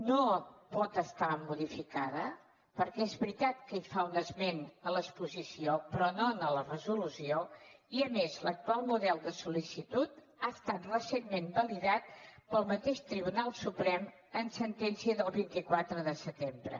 no pot ser modificada perquè és veritat que fa un esment a l’exposició però no en la resolució i a més l’actual model de sol·licitud ha estat recentment validat pel mateix tribunal suprem en sentència del vint quatre de setembre